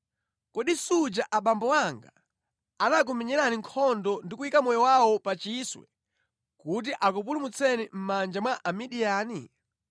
Kodi suja abambo anga anakumenyerani nkhondo ndi kuyika moyo wawo pa chiswe kuti akupulumutseni mʼmanja mwa Amidiyani?